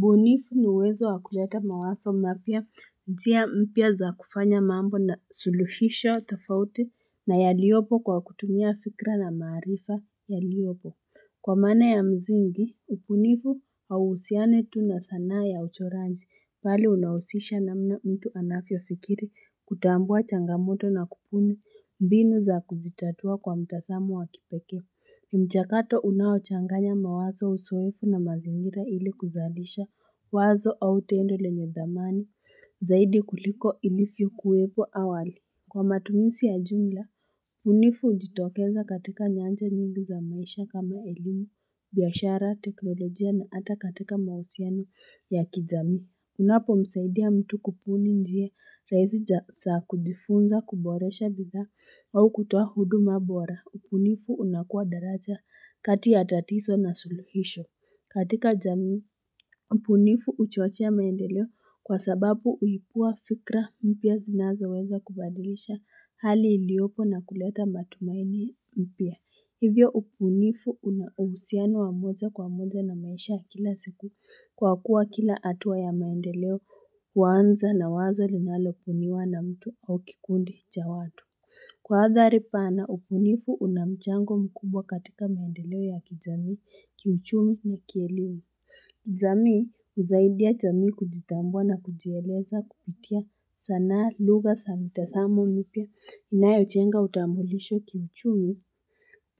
Ubunifu ni uwezo wa kuleta mawazo mapya njia mpya za kufanya mambo na suluhisho tofauti na yaliopo kwa kutumia fikra na maarifa yaliopo kwa maana ya mzingi upunifu wa usiane tunasanaa ya uchoranji pali unausisha na mna mtu anafio fikiri kutambua changamoto na kupuni mbinu za kuzitatua kwa mtasamo wa kipekee ni mchakato unaochanganya mawazo usoefu na mazingira ili kuzalisha wazo au tendo le nye dhamani zaidi kuliko ilivyo kuwepo awali Kwa matumisi ya jumla, bunifu ujitokeza katika nyanja nyingi za maisha kama elimu, biashara, teknolojia na hata katika mausiano ya kijamii. Unapo msaidia mtu kupuni njia, raisi jasa kujifunza kuboresha bidhaa au kutoa hudu mabora, upunifu unakuwa daraja kati ya tatiso na suluhisho. Katika jamii, upunifu uchochea maendeleo kwa sababu uibua fikra mpya zinazo weza kubadilisha hali iliopo na kuleta matumaini mpya. Hivyo upunifu unausiano wa moja kwa moja na maisha ya kila siku kwa kuwa kila atua ya maendeleo uanza na wazo linalo buniwa na mtu au kikundi cha watu. Kwa adhari pana ubunifu una mchango mkubwa katika maendeleo ya kijamii kiuchumi na kielimu jamii uzaidia jamii kujitambua na kujieleza kupitia sanaa lugha sa mitasamo mipya inayojenga utambulisho ki uchumi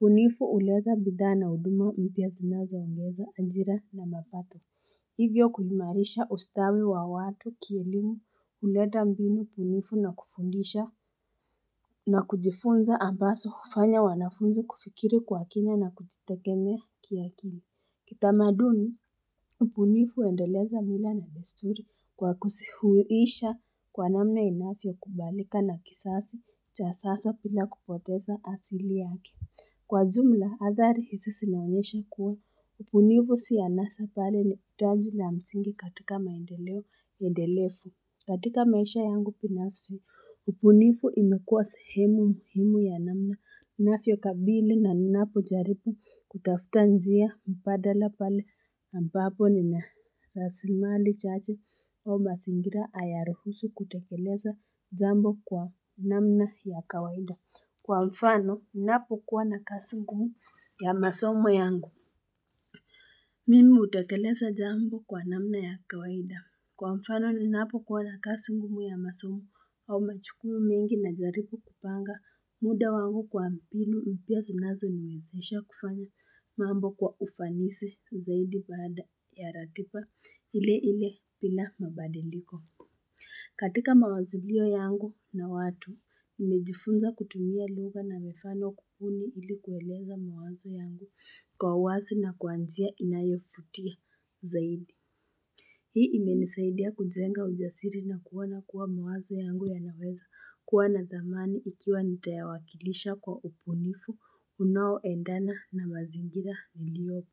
bunifu uleta bidhaa na uduma mpya zina zoongeza ajira na mapato Hivyo kuhimarisha ustawi wa watu kielimu uleta mbinu bunifu na kufundisha na kujifunza ambasofanya wanafunzi kufikiri kwa kina na kujitegemea kia kili Kitamaduni, ubunifu uendeleza mila na desturi kwa kusihuisha kwa namna inavyo kubalika na kisasi cha sasa pila kupoteza asili yake kwa jumla athari hisi sinaonyesha kuwa ubunifu si anasa bali ni utaji la msingi katika maendeleo endelefu katika maisha yangu binafsi ubunifu imekuwa sehemu muhimu ya namna ninavyo kabili ninapo jaribu kutafuta njia mbadala pale ambapo ni na rasimali chache au mazingira hayaruhusu kutekeleza jambo kwa namna ya kawaida Kwa mfano ni napo kuwa na kasi ngumu ya masomo yangu. Mimi utekeleza jambo kwa namna ya kawaida. Kwa mfano ni napo kuwa na kasi ngumu ya masomo au majukumu mengi na jaribu kupanga muda wangu kwa mbinu mpya zinazo niwezesha kufanya mambo kwa ufanisi zaidi baada ya ratiba ile ile bila mabadiliko. Katika mawazilio yangu na watu, nimejifunza kutumia lugha na mifano kubuni ili kueleza mawazo yangu kwa wasi na kwa njia inayofutia zaidi. Hii imenisaidia kujenga ujasiri na kuona kuwa mawazo yangu ya naweza kuwa na dhamani ikiwa nitayawakilisha kwa ubunifu unao endana na mazingira iliopo.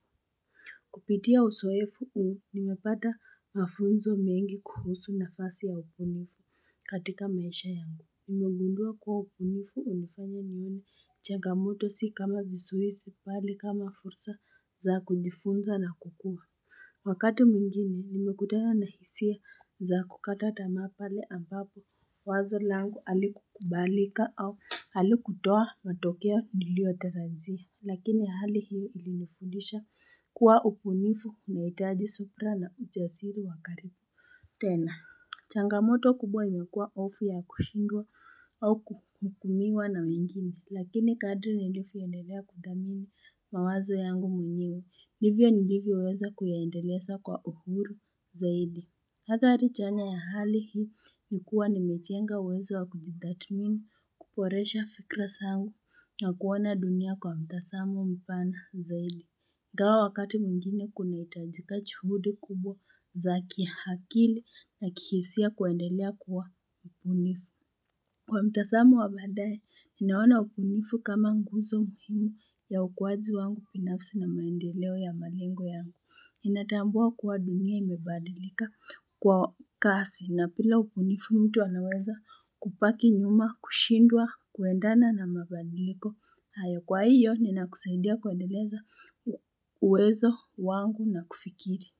Kupitia usoefu uu nimepata mafunzo mengi kuhusu na fasi ya upunifu katika maisha yangu. Nimegundua kuwa upunifu unifanya nione changamoto si kama visuhisi pali kama fursa za kujifunza na kukua. Wakati mwingine nimekutana na hisia za kukata tamaa pale ambapo wazo langu alikukubalika au alikutoa matokeo niliyotarajia. Lakini hali hii ilifundisha kuwa ubunifu una itaji subira na ujaziri wa karibu tena. Changamoto kubwa imekuwa ofu ya kushindwa au kuhukumiwa na wengine. Lakini kadri nilivyoendelea kudhamini mawazo yangu mwenyewe. Ndivyo nilivyo weza kuyaendeleza kwa uhuru zaidi. Hathari chanya ya hali hii ni kuwa ni mejenga uwezo wa kujitathmini kuboresha fikra sangu na kuona dunia kwa mtasamo mpana zaidi. Ingawa wakati mwingine kuna itajika juhudi kubwa za kihakili na kihisia kuendelea kuwa bunifu. Kwa mtasamo wa baadaye, ninaona ubunifu kama nguzo muhimu ya ukuaji wangu binafsi na maendeleo ya malengo yangu. Ninatambua kuwa dunia ime badilika kwa kasi na bila ubunifu mtu anaweza kubaki nyuma, kushindwa, kuendana na mabadiliko na ya kwa hiyo ni na kusaidia kuendeleza uwezo wangu na kufikiri.